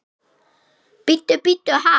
Bíddu bíddu ha?